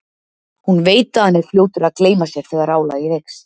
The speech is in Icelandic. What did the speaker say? Hún veit að hann er fljótur að gleyma sér þegar álagið eykst.